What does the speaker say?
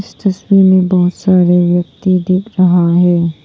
तस्वीर में बहुत सारे व्यक्ति दिख रहा है।